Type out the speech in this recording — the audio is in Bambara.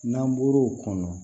N'an bɔr'o kɔnɔ